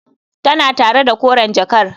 Tana tare da koren jakar.